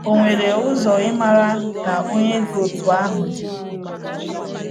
Ọ nwere ụzọ ịmara na Onye dị otú ahụ dị?